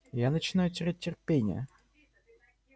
я начинаю терять терпение